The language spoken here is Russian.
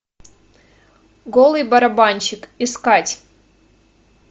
голый барабанщик искать